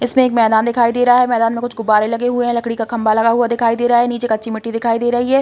इसमें एक मैदान दिखाई दे रहा है। मैदान में कुछ गुब्बारे लगे हुए है। लकड़ी का खंबा लगा हुआ दिखाई दे रहा है। नीचे कच्ची मिट्टी दिखाई दे रही है।